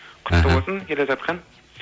құтты болсын келе жатқан